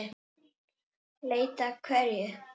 Leita að hverju?